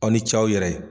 Aw ni ce aw yɛrɛ ye